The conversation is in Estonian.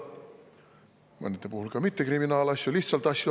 Mõne puhul ei algatata mitte kriminaalasju, vaid lihtsalt asju.